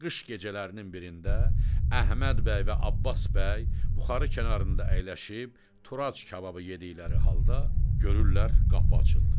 Qış gecələrinin birində Əhməd bəy və Abbas bəy buxarı kənarında əyləşib Turac kababı yedikləri halda görürlər qapı açıldı.